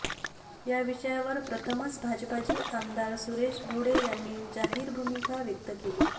या विषयावर प्रथमच भाजपचे आमदार सुरेश भोळे यांनी जाहीर भूमिका व्यक्त केली